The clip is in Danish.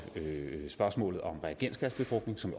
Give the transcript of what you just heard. spørgsmålet om reagensglasbefrugtning som